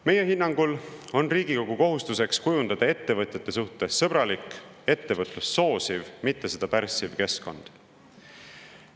Meie hinnangul on Riigikogu kohustus kujundada ettevõtjate suhtes sõbralik ja ettevõtlust soosiv, mitte seda pärssiv keskkond.